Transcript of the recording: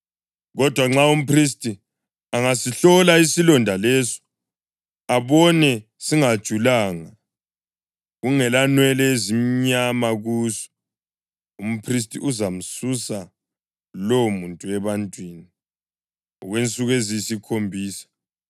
Kodwa nxa umphristi angasihlola isilonda leso abone singajulanga, kungelanwele ezimnyama kuso, umphristi uzamsusa lowomuntu ebantwini okwensuku eziyisikhombisa.